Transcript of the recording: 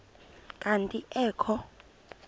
kanti ee kho